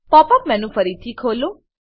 pop up menu ફરીથી ખોલો